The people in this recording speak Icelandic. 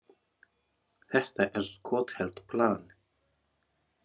Þetta er skothelt plan.